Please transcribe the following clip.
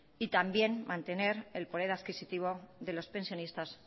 y también mantener el poder adquisitivo de los pensionistas